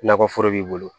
Nakɔ foro b'i bolo